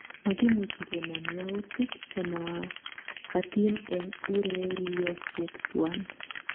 Makimuch kenam yaoutik chemakatin en ureriosiek tuan